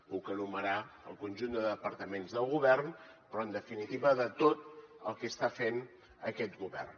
puc enumerar el conjunt de departaments del govern però en definitiva de tot el que està fent aquest govern